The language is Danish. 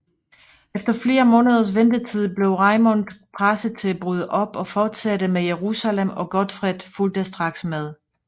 Efter flere måneders ventetid blev Raimond presset til at bryde op og fortsætte mod Jerusalem og Godfred fulgte straks med